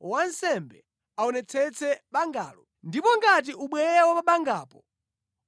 wansembe aonetsetse bangalo, ndipo ngati ubweya wa pa bangapo